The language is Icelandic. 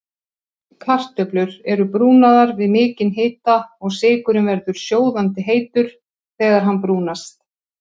Ég er handviss um að hann verði áfram hjá okkur, hvað get ég sagt meira?